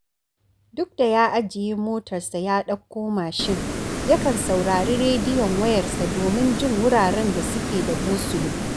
Duk da ya ajiye motarsa ya ɗauko mashin, yakan saurari rediyon wayarsa domin jin wuraren da suke da gosulo